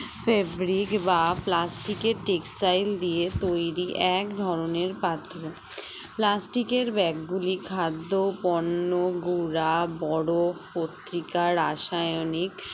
febric বা plastic এর textile দিয়ে তৈরি এক ধরনের পাত্র plastic এর bag গুলি খাদ্য ও পণ্য গুঁড়া বরফ পত্রিকা রাসায়নিক